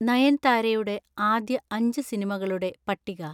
നയൻതാരയുടെ ആദ്യ അഞ്ച് സിനിമകളുടെ പട്ടിക